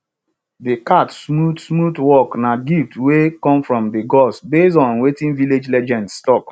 de cat smooth smooth walk na gift wey come from de gods base on wetin village legends talk